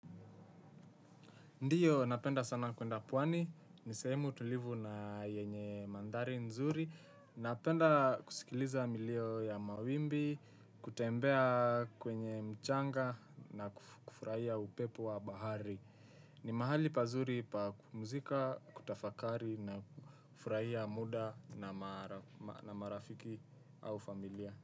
Ndiyo, napenda sana kwenda pwani. Ni sehemu tulivu na yenye mandhari nzuri. Napenda kusikiliza milio ya mawimbi, kutembea kwenye mchanga na kufurahia upepo wa bahari. Ni mahali pazuri pa kupumzika, kutafakari na kufurahia muda na marafiki au familia.